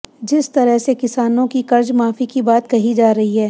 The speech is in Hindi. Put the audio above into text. जिस तरह से किसानों की कर्जमाफी की बात कही जा रही है